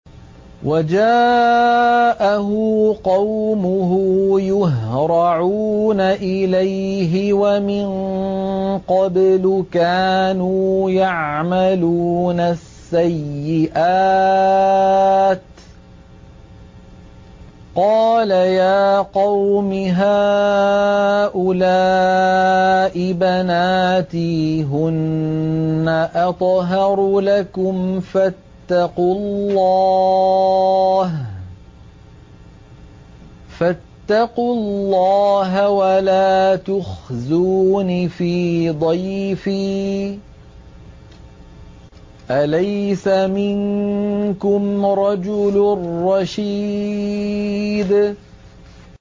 وَجَاءَهُ قَوْمُهُ يُهْرَعُونَ إِلَيْهِ وَمِن قَبْلُ كَانُوا يَعْمَلُونَ السَّيِّئَاتِ ۚ قَالَ يَا قَوْمِ هَٰؤُلَاءِ بَنَاتِي هُنَّ أَطْهَرُ لَكُمْ ۖ فَاتَّقُوا اللَّهَ وَلَا تُخْزُونِ فِي ضَيْفِي ۖ أَلَيْسَ مِنكُمْ رَجُلٌ رَّشِيدٌ